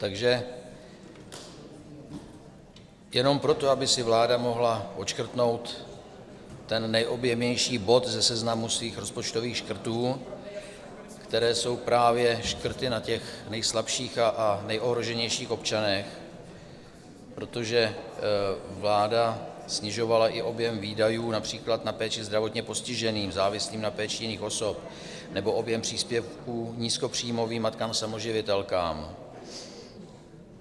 Takže jenom proto, aby si vláda mohla odškrtnout ten nejobjemnější bod ze seznamu svých rozpočtových škrtů, které jsou právě škrty na těch nejslabších a nejohroženějších občanech, protože vláda snižovala i objem výdajů například na péči zdravotně postiženým, závislým na péči jiných osob nebo objem příspěvků nízkopříjmovým matkám samoživitelkám.